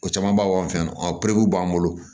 O camanba b'an fɛ yan nɔ b'an bolo